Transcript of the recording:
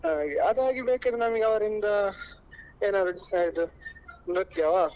ಹಾಗೆ ಅದಾಗಿ ಬೇಕಾದ್ರೆ ನಮ್ಗೆ ಅವ್ರಿಂದ ಏನಾದ್ರು ಆ ಇದು ನೃತ್ಯವಾ.